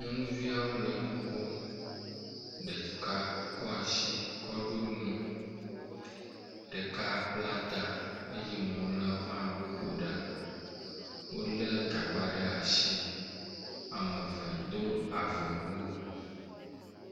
Nyɔnuviawo le nukom, ɖeka kɔasi kɔ ɖo mo, ɖeka bla ta eye mamleawo hã woƒo ɖa. Wole gagba ɖ'asi, ameve do avɔ wu